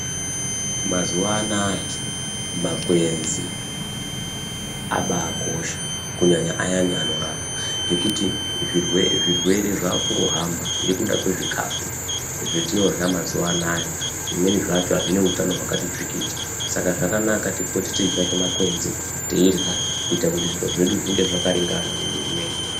Mazuwanaya makwenzi abakosha kunyanya ayani anorapa ngekuti zvirwere zvirwere zvakuhamba nekuda kwezvikafu zvatinorya mazuwano zvimweni zvacho azvina utano wakati tsvikiti saka zvakanaka tipote teitsvake makwenzi kuti zviro zvedu zvinge zvakaringana mumwiri medu.